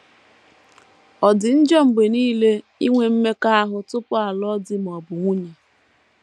Ọ̀ dị njọ mgbe nile inwe mmekọahụ tupu a lụọ di ma ọ bụ nwunye? ’”